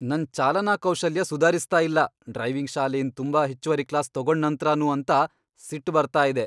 ನನ್ ಚಾಲನಾ ಕೌಶಲ್ಯ ಸುದಾರಿಸ್ತಾ ಇಲ್ಲ ಡ್ರೈವಿಂಗ್ ಶಾಲೆಯಿಂದ್ ತುಂಬಾ ಹೆಚ್ಚುವರಿ ಕ್ಲಾಸ್ ತಗೊಂಡ್ ನಂತ್ರನೂ ಅಂತ ಸಿಟ್ ಬರ್ತಾ ಇದೆ.